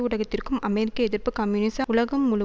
ஊடகத்திற்கும் அமெரிக்க எதிர்ப்பும் கம்யூனிச அடிவருடலும் உலகம்